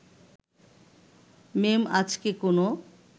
মেম আজকে কোনো